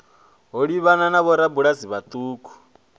ho livhanaho na vhorabulasi vhauku